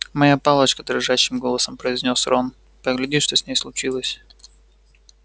моя палочка дрожащим голосом произнёс рон погляди что с ней случилось